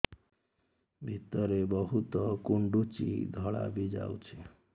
ଭିତରେ ବହୁତ କୁଣ୍ଡୁଚି ଧଳା ବି ଯାଉଛି